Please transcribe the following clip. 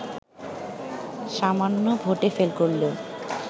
সামান্য ভোটে ফেল করলেও